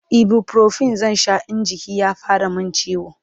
ibuprofen zan Sha in jiki ya fara min ciwo